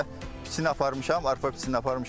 Hal-hazırda biçini aparmışam, arpa biçini aparmışam.